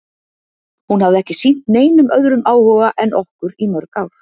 Hún hafði ekki sýnt neinum öðrum áhuga en okkur í mörg ár.